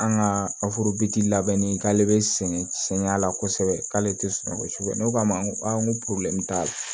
An ka labɛnni k'ale bɛ sɛgɛn cɛnya la kosɛbɛ k'ale tɛ sɔn kosɛbɛ ne k'a ma ko ko t'a la